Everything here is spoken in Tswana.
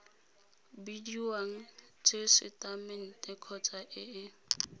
bidiwang tesetamente kgotsa e e